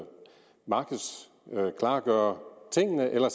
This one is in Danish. klargøre tingene eller